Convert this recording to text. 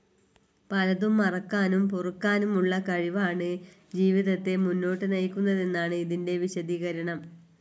പലതും മറക്കാനും പൊറുക്കാനും ഉള്ള കഴിവാണ് ജീവിതത്തെ മുന്നോട്ട് നയിക്കുന്നതെന്നാണ് ഇതിന്റെ വിശദീകരണം.